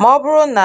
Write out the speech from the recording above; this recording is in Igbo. Ma ọbụrụ na